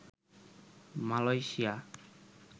Malaysia